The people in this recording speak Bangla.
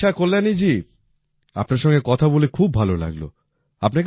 আচ্ছা কল্যাণীজি আপনার সঙ্গে কথা বলে খুব ভালো লাগলো